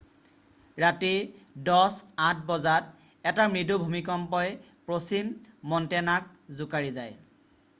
ৰাতি 10:08 বজাত এটা মৃদু ভূমিকম্পই পশ্চিম মন্টেনাক জোকাৰি যায়